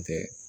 N tɛ